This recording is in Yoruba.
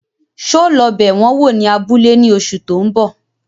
So lọ bẹ wọn wò ní abúlé ní oṣù tó ń bọ̀?